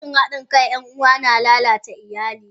Rashin hadin kan yan uwa na lalata iyali.